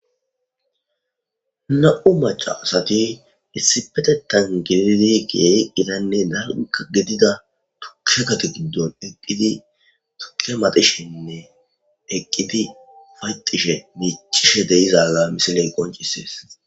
Na'u maca asati issipetetan gididi giyeeqqinanne narka gidida tuke kati guddon eqqidi tuke matishenne eqqiti fayqishe miichishe deizala misiley qoncisees.